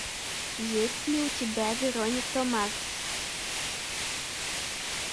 есть ли у тебя вероника марс